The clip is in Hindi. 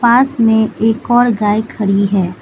पास में एक और गाय खड़ी हैं।